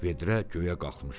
Vedrə göyə qalxmışdı.